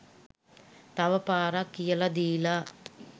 තව පාරක් කියලා දීලා